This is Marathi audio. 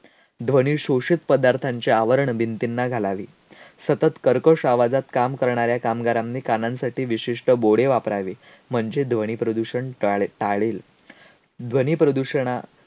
ध्वनिशोषित पदार्थांचे आवरणं भिंतींना घालावीत. सतत कर्कश आवाजात काम करणाऱ्या कामगारांनी कानांसाठी विशिष्ट बोडे वापरावे म्हणजे ध्वनीप्रदूषण टाळेल. ध्वनीप्रदूषणा